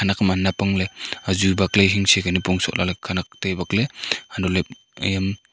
khenak ham anap angley azu bakley hingsey ka nipong sohley khanak tai bakley untohley m.